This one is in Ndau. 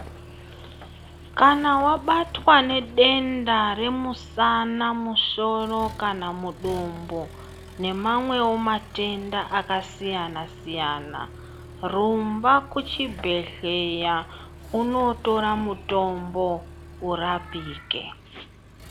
Kana wabatwa nedenda remusana, musoro, kana mudumbu, nemamwewo matenda akasiyana-siyana ,rumba kuchibhedhleya unootora mutombo urapike.